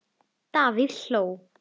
Davíð Halló.